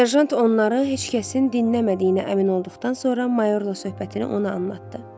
Serjant onları heç kəsin dinləmədiyinə əmin olduqdan sonra mayorla söhbətini ona anladı.